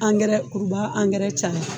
Angɛrɛ kuruba angɛrɛ ca